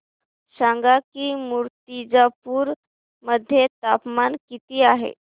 सांगा की मुर्तिजापूर मध्ये तापमान किती आहे